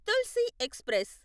Tulsi express